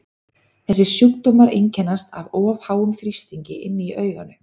þessir sjúkdómar einkennast af of háum þrýstingi inni í auganu